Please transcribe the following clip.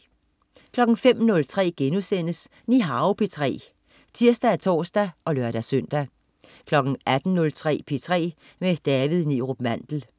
05.03 Nihao P3* (tirs og tors og lør-søn) 18.03 P3 med David Neerup Mandel